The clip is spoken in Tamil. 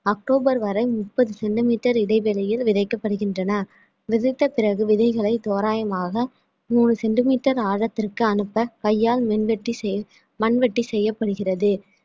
அக்டோபர் வரை முப்பது centimetre இடைவெளியில் விதைக்கப்படுகின்றன விதைத்த பிறகு விதைகளை தோராயமாக மூணு centimetre ஆழத்திற்கு அனுப்ப கையால் மின்வெட்டி செய்~ மண்வெட்டி செய்யப்படுகிறது